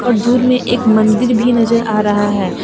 दूर मे एक मंदिर भी नजर आ रहा है।